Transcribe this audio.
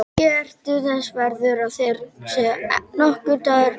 Ekki ertu þess verður að þér sé nokkur dagur gefinn.